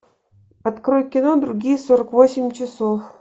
открой кино другие сорок восемь часов